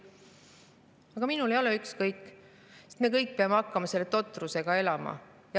Aga minul ei ole ükskõik, sest me kõik peame hakkama selle totrusega elama.